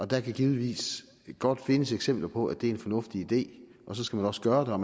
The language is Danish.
der kan givetvis godt findes eksempler på at det er en fornuftig idé og så skal man også gøre